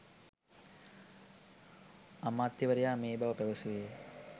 අමාත්‍යවරයා මේ බව පැවසුවේ